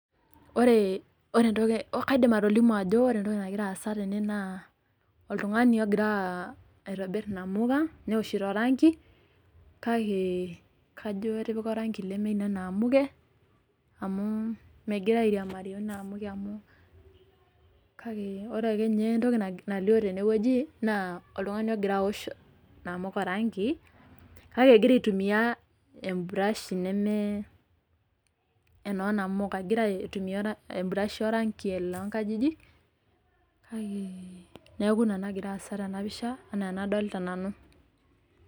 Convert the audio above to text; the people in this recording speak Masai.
Ore entoki kaidim atolimu ajo ore entoki nagira aasa tene naa, oltung'ani ogira aitobir inamuka, newoshito oranki, kake kajo etipika oranki lemenena amuke, amu migira airiamari woinaamuke amu, kake ore akenye entoki nalio tenewueji, naa oltung'ani ogira awosh inamuka oranki, kake egira aitumia e brush neme enoo namuka. Egira aitumia e brush oranki lonkajijik, kake neeku ina nagira aasa tenapisha, enaa enadolita nanu.